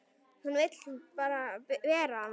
Hún vill bera hana.